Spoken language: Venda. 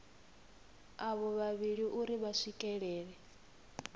avho vhavhili uri vha swikelele